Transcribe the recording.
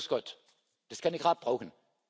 Grüß Gott, das kann ich gerade brauchen!